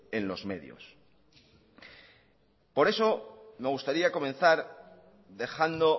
en los medios por eso me gustaría comenzar dejando